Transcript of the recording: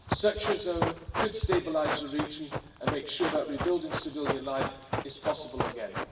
Such a zone could stabilise the region and make sure that rebuilding civilian life is possible again.